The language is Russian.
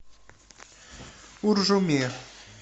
уржуме